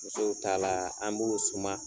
Musow ta la an b'u suma.